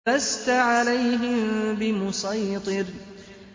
لَّسْتَ عَلَيْهِم بِمُصَيْطِرٍ